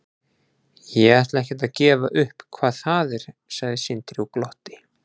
Ég ætla ekkert að gefa upp hvað það er, sagði Sindri og glotti.